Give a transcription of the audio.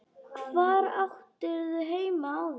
Hvar áttirðu heima áður?